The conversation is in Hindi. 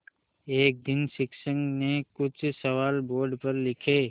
एक दिन शिक्षक ने कुछ सवाल बोर्ड पर लिखे